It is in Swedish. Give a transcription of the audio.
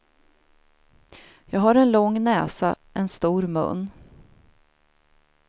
Jag har en lång näsa, en stor mun.